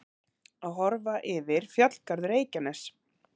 Að horfa yfir fjallgarð Reykjaness.